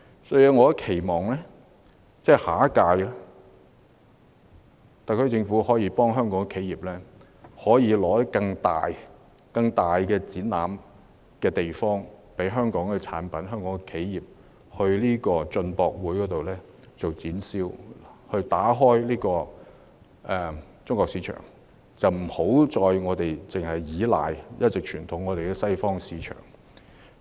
因此，我期望特區政府在下一屆進口博覽可以協助香港企業爭取更大的展覽場地，讓香港企業可以展銷其產品，打開中國市場，而我們亦不應再依賴傳統的西方市場。